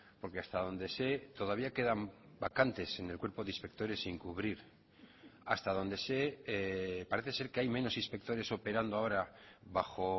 porque hasta donde sé todavía quedan vacantes en el cuerpo de inspectores sin cubrir hasta donde sé parece ser que hay menos inspectores operando ahora bajo